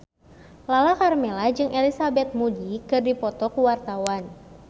Lala Karmela jeung Elizabeth Moody keur dipoto ku wartawan